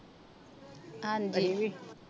ਹਾਂਜੀ ਵੀ